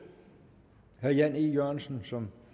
herre jan e jørgensen som